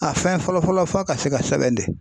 A fɛn fɔlɔ-fɔlɔ f'a ka se ka sɛbɛn de.